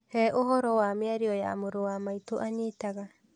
Hee ũhoro wa mĩario ya mũrũ wa maitũ aanyitaga.